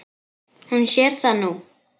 Hún sér það nú.